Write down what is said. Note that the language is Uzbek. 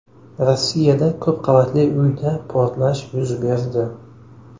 Rossiyada ko‘p qavatli uyda portlash yuz berdi.